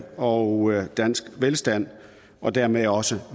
og dansk velstand og dermed også